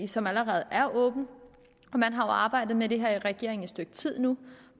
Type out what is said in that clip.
som allerede er åben man har jo arbejdet med det her i regeringen i et stykke tid nu